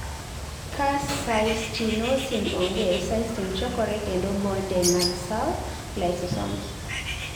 ka cystinosin onge cystine chokore kendo bonde mag sel lysosomes